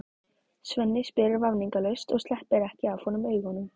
Svenni spyr vafningalaust og sleppir ekki af honum augunum.